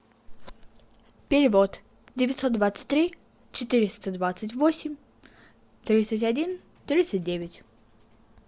перевод девятьсот двадцать три четыреста двадцать восемь тридцать один тридцать девять